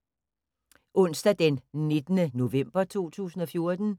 Onsdag d. 19. november 2014